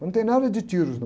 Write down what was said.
Mas não tem nada de, não.